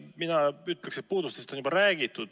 Mina ütleksin, et puudustest on juba räägitud.